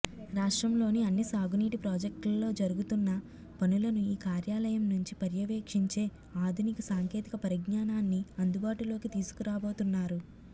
రాష్ట్రంలోని అన్ని సాగునీటి ప్రాజెక్టుల్లో జరుగుతున్న పనులను ఈ కార్యాలయం నుంచి పర్యవేక్షించే ఆధునిక సాంకేతిక పరిజ్ఞానాన్ని అందుబాటులోకి తీసుకురాబోతున్నారు